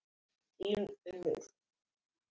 Þín, Unnur.